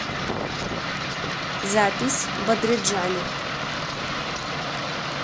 запись бадриджани